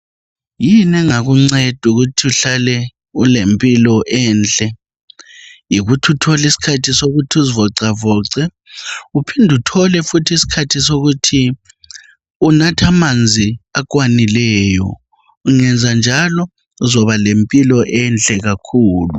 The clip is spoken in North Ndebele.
Yini engakunceda ukuthi uhlale ulempilakahle enhle, yikuthi uthole isikhathi sokuthi uzivoxavoxe Uphinde uthole isikhathi sokuthi unathe amanzi akwanileyo. Ungenza njalo uzoba lempilo enhle kakhulu.